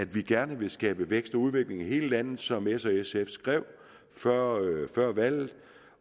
vi gerne vil skabe vækst og udvikling i hele landet som s og sf skrev før valget